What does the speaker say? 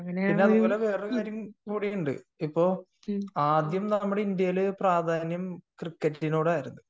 പിന്നെ അതുപോലെ വേറൊരു കാര്യം കൂടി ഉണ്ട് ഇപ്പോൾ ആദ്യം നമ്മുടെ ഇന്ത്യയിൽ പ്രാധാന്യം ക്രിക്കറ്റിനോട് ആയിരുന്നു